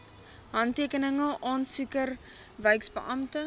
handtekeninge aansoeker wyksbeampte